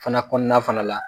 Fana kɔnɔna fana la.